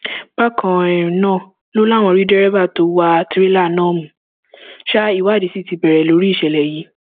bákan um náà ló láwọn rí dẹrẹbà tó wá tìrẹlà náà mú um ìwádìí sí ti bẹrẹ lórí ìṣẹlẹ yìí